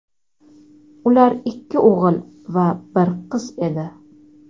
Ular ikki o‘g‘il va bir qiz edi.